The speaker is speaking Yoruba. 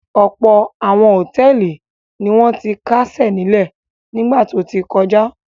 Ọ̀pọ̀ àwọn hòtẹ́ẹ́lì ni wọ́n ti kásẹ̀ nílẹ̀ nígbà tó ti kọjá.